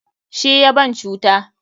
Shi ya ban cuta.